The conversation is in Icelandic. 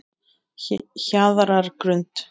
Hjarðargrund